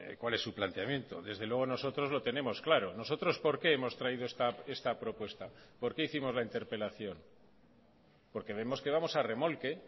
cuál es su planteamiento desde luego nosotros lo tenemos claro nosotros por qué hemos traído esta propuesta por qué hicimos la interpelación porque vemos que vamos a remolque